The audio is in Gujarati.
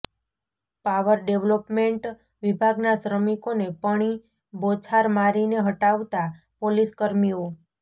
પાવર ડેવલોપમેન્ટ વિભાગના શ્રમીકોને પણી બોછાર મારીને હટાવતા પોલીસકર્મીઓ